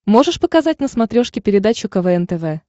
можешь показать на смотрешке передачу квн тв